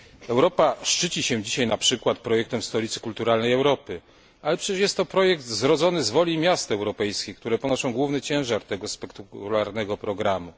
Europa szczyci się dzisiaj np. projektem Stolicy Kulturalnej Europy, ale przecież jest to projekt zrodzony z woli miast europejskich, które ponoszą główny ciężar tego spektakularnego programu.